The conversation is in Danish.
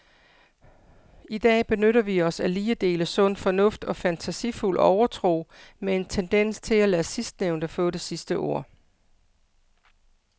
I dag benytter vi os af lige dele sund fornuft og fantasifuld overtro med en tendens til at lade sidstnævnte få det sidste ord.